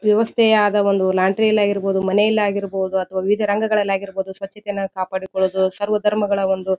ವ್ಯವಸ್ಥೆ ಆದ ಒಂದು ಲಾಂಡ್ರಿ ಯಲ್ಲಾಗಿರಬಹುದು ಮನೆಯಲ್ಲಾಗಿರಬಹುದು ಅಥವಾ ವಿವಿಧ ರಂಗಗಳಲ್ಲಿ ಆಗಿರಬಹುದು ಸ್ವಚ್ಛತೆಯನ್ನ ಕಾಪಾಡಿ ಕೊಳ್ಳುವುದು ಸರ್ವ ಧರ್ಮಗಳ ಒಂದು --